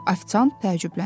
Afisant təəccübləndi.